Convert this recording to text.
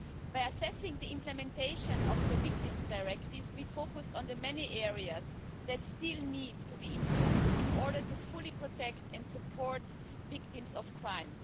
By assessing the implementation of the Victims' Directive, we focused on the many areas that still needs to be improved in order to fully protect and support victims of crime.